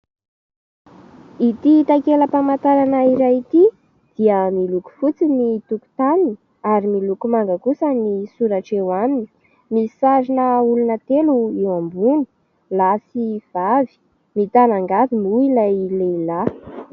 Ity takelam-pamantarana iray ity dia miloko fotsy ny tokotaniny ary miloko manga kosa ny soratra eo aminy misy sarina olona telo eo amboniny lahy sy vavy mitana angady moa ilay lehilahy.